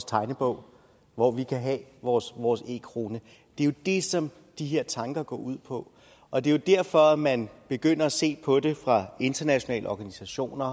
tegnebog hvor vi kan have vores vores e kroner det er jo det som de her tanker går ud på og det er derfor man begynder at se på det fra internationale organisationers